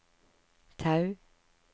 Tau